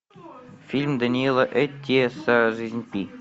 фильм даниэла эттеша жизнь пи